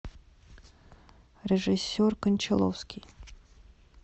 режиссер кончаловский